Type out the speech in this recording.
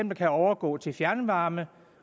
no kan overgå til fjernvarme